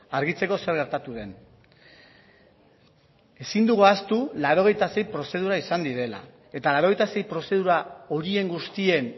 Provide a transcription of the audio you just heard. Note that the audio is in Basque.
argitzeko zer gertatu den ezin dugu ahaztu laurogeita sei prozedura izan direla eta laurogeita sei prozedura horien guztien